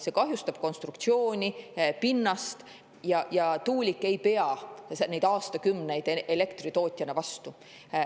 See kahjustab konstruktsiooni ja pinnast ning tuulik ei pea aastakümneid elektritootjana vastu.